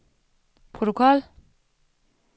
protokol